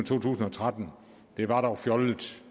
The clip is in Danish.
to tusind og tretten det var dog fjollet